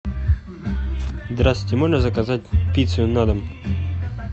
здравствуйте можно заказать пиццу на дом